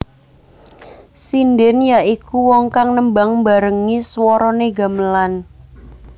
Sindhèn ya iku wong kang nembang mbarengi swaranè gamelan